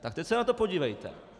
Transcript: Tak teď se na to podívejte.